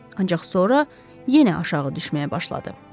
Ancaq sonra yenə aşağı düşməyə başladı.